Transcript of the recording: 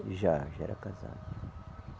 Já, já era casado.